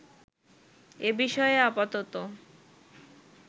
এ বিষয়ে আপাতত